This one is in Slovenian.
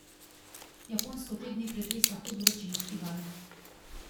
Japonsko te dni pretresa hud vročinski val.